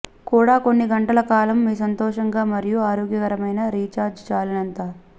కూడా కొన్ని గంటల కాలం మీ సంతోషంగా మరియు ఆరోగ్యకరమైన రీఛార్జ్ చాలినంత